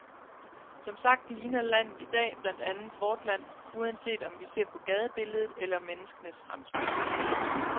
Som sagt ligner landet i dag blandt andet vort land, uanset om vi ser på gadebilledet eller menneskenes fremtoning.